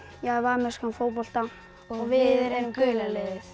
ég æfi amerískan fótbolta og við erum gula liðið